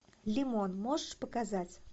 лимон можешь показать